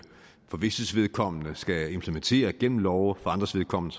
for visses vedkommende skal implementere gennem love for andres vedkommende